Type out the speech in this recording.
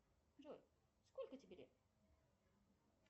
джой сколько тебе лет